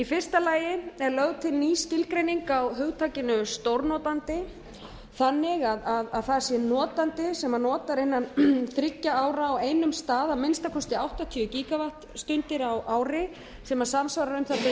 fyrsta lagi er lögð til ný skilgreining á hugtakinu stórnotandi þannig að það sé notandi sem notar innan þriggja ára á einum stað að minnsta kosti áttatíu gígavattstundir á ári sem samsvarar um það